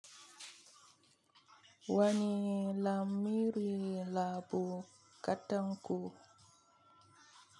Wani lamiri labu gadanku?